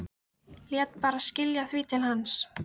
Lét bara skila því til hans!